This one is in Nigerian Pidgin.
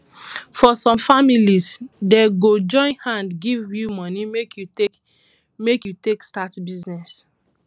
for some families dem go join hand give you momey make you take make you take start business